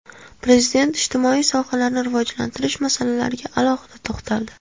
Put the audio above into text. Prezident ijtimoiy sohalarni rivojlantirish masalalariga alohida to‘xtaldi.